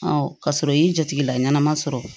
ka sɔrɔ i y'i jatigɛ la ɲɛnama sɔrɔ